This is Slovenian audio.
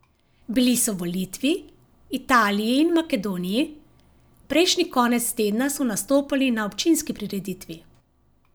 Bili so v Litvi, Italiji in Makedoniji, prejšnji konec tedna so nastopali na občinski prireditvi.